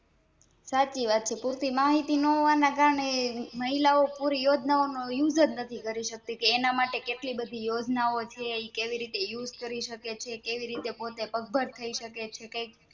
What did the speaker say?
સાચી વાત છે પુરતી માહિતી ન હોવાના કારણે મહિલા ઓં પૂરી યોજના નો Use જ નથી કરી સકતી કે એના માટે કેટલી બધી યોજના આઓ છે એ કેવી રીતે Use કરી સકે છે કેવી રીતે પોતે પગભર થઈ સકે